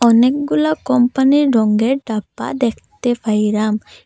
অনেকগুলা কোম্পানির রঙ্গের ডাব্বা দেখতে পাইরাম।